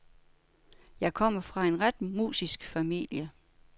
Jeg kommer fra en ret musisk familie.